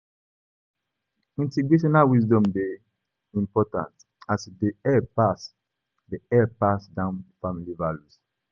Intergenerational wisdom dey important as e dey help pass dey help pass down family values.